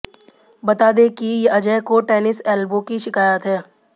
बता दे कि अजय को टेनिस एल्बो की शिकायत है